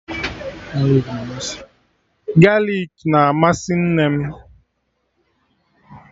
Galik na amasị nne m